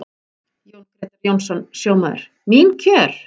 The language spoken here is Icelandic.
Jón Grétar Jónsson, sjómaður: Mín kjör?